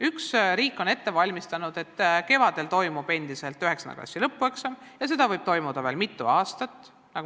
Üks variant on see, et riik on ette valmistanud, et kevadel toimub endiselt 9. klassi lõpueksam ja see võib toimuda veel mitu aastat.